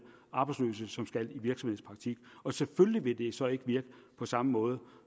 arbejdsløse som skal i virksomhedspraktik og selvfølgelig vil det så ikke virke på samme måde